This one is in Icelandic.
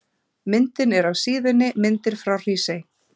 Myndin er af síðunni Myndir frá Hrísey.